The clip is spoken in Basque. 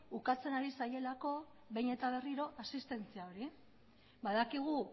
ukatzen ari zaielako behin eta berriro asistentzia hori badakigu